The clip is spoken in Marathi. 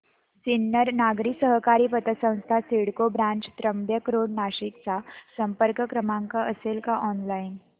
सिन्नर नागरी सहकारी पतसंस्था CIDCO branch Trimbak road Nashik चा संपर्क क्रमांक असेल का ऑनलाइन